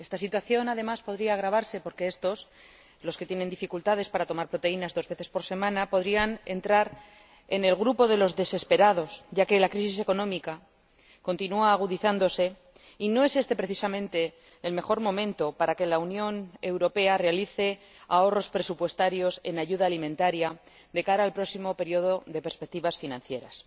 Además, esta situación podría agravarse porque estos —los que tienen dificultades para tomar proteínas dos veces por semana— podrían entrar en el grupo de los desesperados, ya que la crisis económica continúa agudizándose, y no es este precisamente el mejor momento para que la Unión Europea realice ahorros presupuestarios en ayuda alimentaria de cara al próximo periodo de perspectivas financieras.